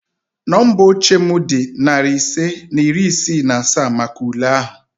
Nọmba oche m dị narị ise na iri isii na asaa maka ule ahụ